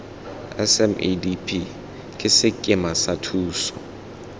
smedp ke sekema sa thuso